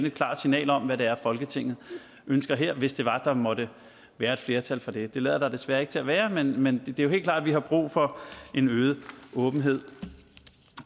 et klart signal om hvad det er folketinget ønsker her hvis det var der måtte være flertal for det det lader der desværre ikke til at være men men det er helt klart at vi har brug for en øget åbenhed